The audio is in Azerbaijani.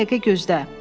Bir dəqiqə gözlə.